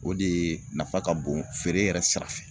O de ye nafa ka bon feere yɛrɛ sira fɛ